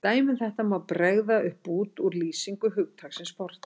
Sem dæmi um þetta má bregða upp bút úr lýsingu hugtaksins fortíð